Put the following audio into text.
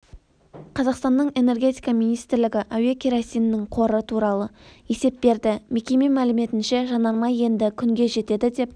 қазақстанның энергетика министрлігі әуе керосинінің қоры туралы есеп берді мекеме мәліметінше жанармай енді күнге жетеді деп